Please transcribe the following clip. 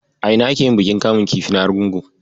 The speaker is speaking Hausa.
A ina ake yin bikin kamun kifi na Argungu?